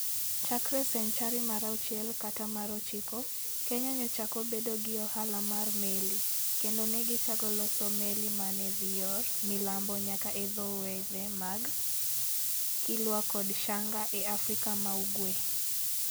Chakre senchari mar auchiel kata mar ochiko, Kenya nochako bedo gi ohala mar meli, kendo ne gichako loso meli ma ne dhi yor milambo nyaka e dho wedhe mag Kilwa kod Shanga e Afrika ma Ugwe.